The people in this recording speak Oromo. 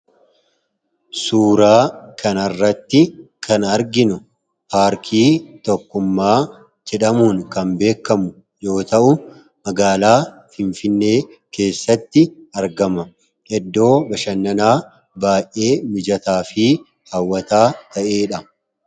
Suuraa kan arratti kan arginu paarkii tokkummaa jedhamuun kan beekamu yoo ta'u magaalaa finfinee keessatti argama. Iddoo bashannanaa baay'ee mijataa fi haawataa ta'eedha.